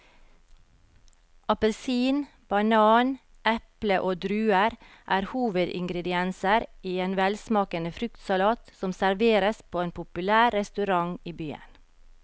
Appelsin, banan, eple og druer er hovedingredienser i en velsmakende fruktsalat som serveres på en populær restaurant i byen.